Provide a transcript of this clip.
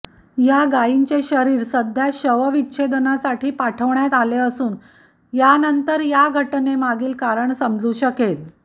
या गायींचे शरीर सध्या शवविच्छेदनासाठी पाठवण्यात आले असून यानंतर या घटनेमागील कारण समजू शकेल